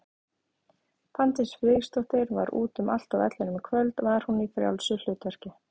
Fanndís Friðriksdóttir var út um allt á vellinum í kvöld, var hún í frjálsu hlutverki?